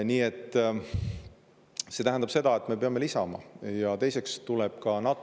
Nii et see tähendab seda, et me peame lisama.